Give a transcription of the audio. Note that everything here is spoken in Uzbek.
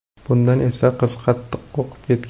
Bundan esa qiz qattiq qo‘rqib ketgan.